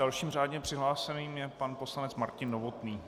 Dalším řádně přihlášeným je pan poslanec Martin Novotný.